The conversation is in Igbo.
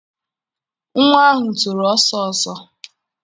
Nwa ahụ toro ọsọ ọsọ.